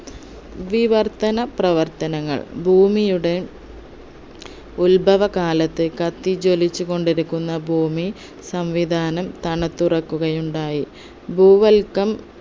വിവർത്തന പ്രവർത്തനങ്ങൾ ഭൂമിയുടെ ഉത്ഭവ കാലത്തെ കത്തിജ്വലിച്ച്‌ കൊണ്ടിരിക്കുന്ന ഭൂമി സംവിധാനം തണുത്തുറക്കുകയുണ്ടായി ഭൂവൽക്കം